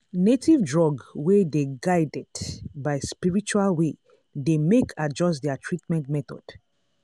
native drug wey dey guided by spiritual way dey make adjust their treatment method.